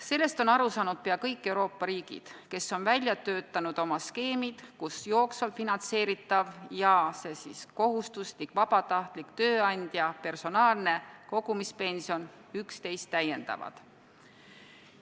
Sellest on aru saanud pea kõik Euroopa riigid, kes on välja töötanud oma skeemid, kus jooksvalt finantseeritav ja kohustuslik vabatahtlik tööandja personaalne kogumispension üksteist täiendavad.